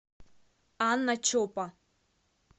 анна чопа